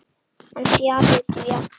En fjarri því allar.